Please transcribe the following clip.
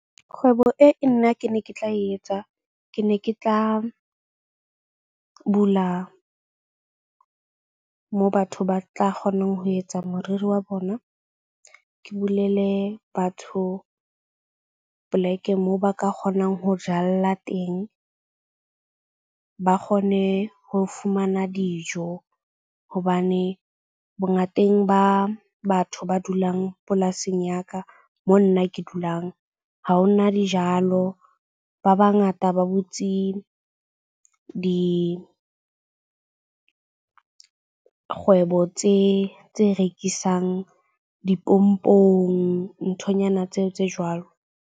Kgwebo e nna ke ne ke tla etsa ke ne ke tla bula moo batho ba tla kgonang ho etsa moriri wa bona. Ke bulele batho plek-e moo ba ka kgonang ho jalla teng. Ba kgone ho fumana dijo hobane bongateng ba batho ba dulang polasing ya ka mo nna ke dulang ha ho na dijalo. Ba bangata ba butse dikgwebo tse rekisang dipompong, nthonyana tseo tse jwalo.